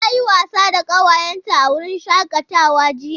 Ta yi wasa da ƙawayenta a wurin shakatawa jiya.